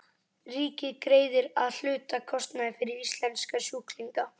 Ríkið greiðir að hluta kostnað fyrir íslenska sjúklinga.